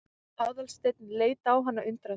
Aðalsteinn leit á hana undrandi.